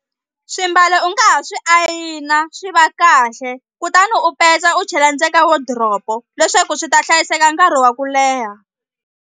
Swimbalo u nga ha swi ayina swi va kahle kutani u petsa u chela ndze ka wodiropo leswaku swi ta hlayiseka nkarhi wa ku leha.